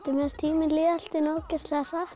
mér fannst tíminn líða allt í einu ógeðslega hratt